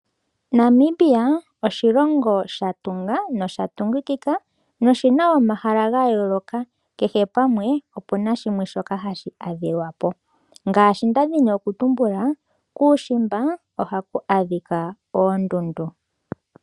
Namibia oshilongo shatunga nosha tungikika noshina omahala ga yooloka kehe pamwe opu na shoka hashi adhiwa po. Ngaashi ndadhi nokutumbula kuushimba ohaku adhikwa oondundu.